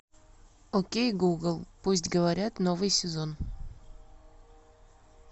окей гугл пусть говорят новый сезон